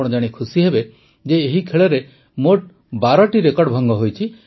ଆପଣ ଜାଣି ଖୁସି ହେବେ ଯେ ଏହି ଖେଳରେ ମୋଟ ୧୨ଟି ରେକର୍ଡ଼ ଭଙ୍ଗ ହୋଇଛି